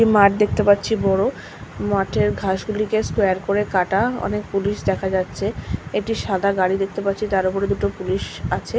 একটি মাঠ দেখতে পাচ্ছি বড় মাঠের ঘাস গুলি স্কয়ার করে কাটা অনেক পুলিশ দেখা যাচ্ছে এটি সাদা গাড়ি দেখতে পাচ্ছি তার উপর দুটো পুলিশ আছে।